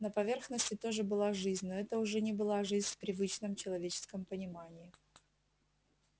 на поверхности тоже была жизнь но это уже не была жизнь в привычном человеческом понимании